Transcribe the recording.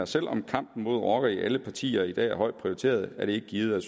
selv om kampen mod rockerne i alle partier i dag er højt prioriteret er det ikke givet at